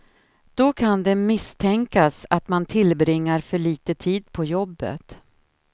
Då kan det misstänkas att man tillbringar för lite tid på jobbet.